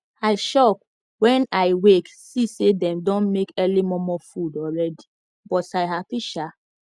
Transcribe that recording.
i shock wen i wake see say them don make early momo food alreadi but i happy shaa